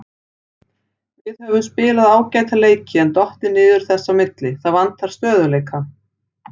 Við höfum spilað ágæta leiki en dottið niður þess á milli, það vantar stöðugleika.